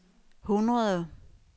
hundrede